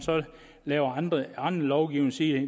laver anden lovgivning siger